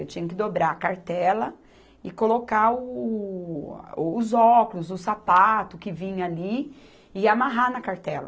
Eu tinha que dobrar a cartela e colocar o, a, os óculos, o sapato que vinha ali e amarrar na cartela.